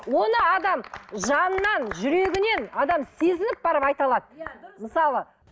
оны адам жанынан жүрегінен адам сезініп барып айта алады мысалы